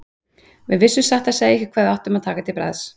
Við vissum satt að segja ekki hvað við áttum að taka til bragðs.